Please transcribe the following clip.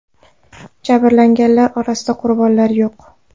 Jabrlanganlar orasida qurbonlar yo‘q.